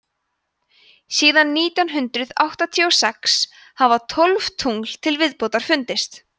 síðan nítján hundrað áttatíu og sex hafa tólf tungl til viðbótar fundist